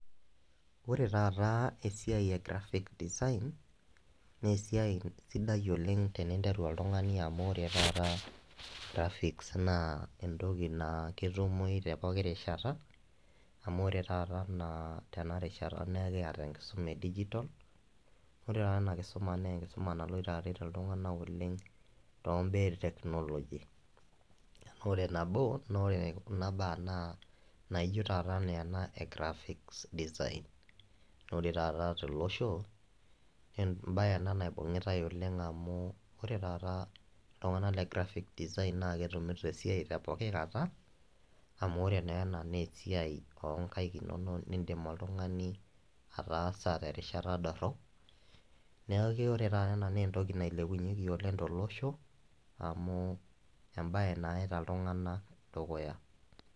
Ore taata esiai e graphic design, naa esiai sidai oleng teninteru oltung`ani amu ore taata graphics naa entoki naa ketumoyu te poki rishata. Amu ore taata enaa tena rishata naa ekiata enkisuma e digital. Ore taata ena kisuma naa enkisuma naloito aaret iltung`anak oleng too im`baa e teknoloji. Amu ore nabo e kuna baa naa enaijo taata enaa ena e graphic designs. Naa ore taata to losho naa em`bae ena naibung`itai oleng amu ore taa iltung`anak le graphic design naa ketumito esiai te poki kata , amu ore naa ena naa esiai oo nkaik inonok naa in`dim naa oltung`ani ataasa te rishata dorrop. Niaku ore taata ena naa entoki nailepunyieki to losho amu em`bae nayaita iltung`anak dukuya.